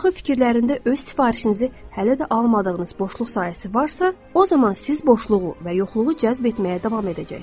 Axı fikirlərində öz sifarişinizi hələ də almadığınız boşluq sayəsi varsa, o zaman siz boşluğu və yoxluğu cəlb etməyə davam edəcəksiz.